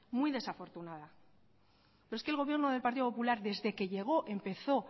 muy desafortunada pero es que el gobierno del partido popular desde que llegó empezó